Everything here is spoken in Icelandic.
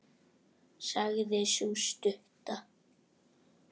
sagði sú stutta.